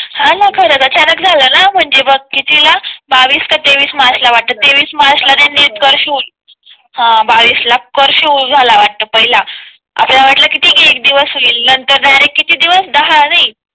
हा न खरंच अचानक झाला म्हणजे मग कितीला बावीस तेवीस मार्च ला वाटत तेवीस मार्च नीट कर्फ्यू हा बावीस ला कर्फ्यू झाला वाटतं पहिला आपल्याला वाटलं ठीक आहे एक दिवस होईल किती एक दिवस होईल नंतर डिरेकट चे दिवस दहा नाही